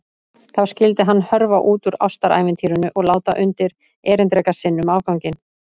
Þá skyldi hann hörfa út úr ástarævintýrinu og láta undir-erindreka sinn um afganginn.